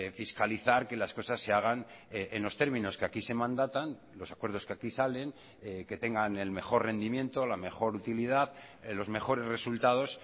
fiscalizar que las cosas se hagan en los términos que aquí se mandatan los acuerdos que aquí salen que tengan el mejor rendimiento la mejor utilidad los mejores resultados